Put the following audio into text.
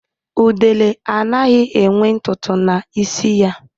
Udele anaghị enwe ntụ ntụ na isi ya